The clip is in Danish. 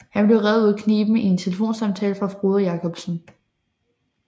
Han blev reddet ud af kniben af en telefonsamtale fra Frode Jakobsen